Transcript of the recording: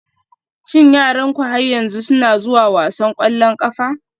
Shin yaranku har yanzu suna zuwa wasan ƙwallon ƙafa?